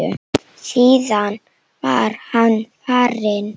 Síðan var hann farinn.